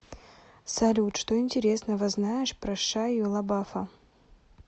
салют что интересного знаешь про шайю лабафа